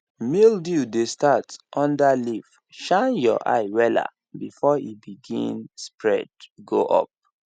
mildew dey start under leaf shine your eye wella before e begin spread go up